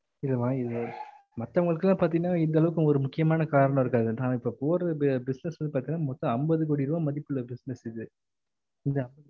இல்லம்மா இது மத்தவங்களுக்கு எல்லா பாத்தேங்ன்னா இந்த அளவுக்கு முக்கியமான காரணம் இருக்காது நான் இப்ப போறது business பாத்தேங்கன்னா மொத்தம் அம்பது கோடி ரூபா மதிப்புள்ள business இது புரியுதா